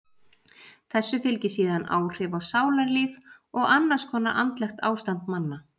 Þessu fylgi síðan áhrif á sálarlíf og annars konar andlegt ástand manna.